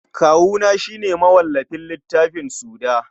Kawuna shi ne mawallafin littafin Suda.